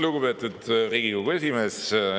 Lugupeetud Riigikogu esimees!